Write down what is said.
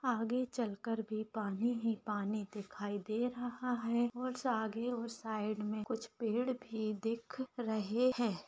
आगे चलकर भी पानी ही पानी दिखाई दे रहा है और उससे आगे और साइड में कुछ पेड़ भी दिख रहे हैं।